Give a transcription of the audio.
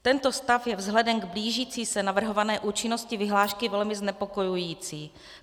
Tento stav je vzhledem k blížící se navrhované účinnosti vyhlášky velmi znepokojující.